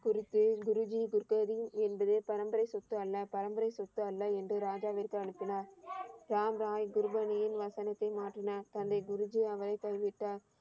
குறித்து குருஜி குருதேவி என்பது பரம்பரை சொத்து அல்ல. பரம்பரை சொத்து அல்ல என்று ராஜாவிற்கு அனுப்பினார். ராம் ராய் குருபானியின் வசனத்தை மாற்றினார். தன்னை குருஜியாக பதிவிட்டார்.